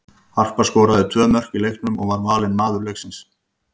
Harpa skoraði tvö mörk í leiknum og var valin maður leiksins.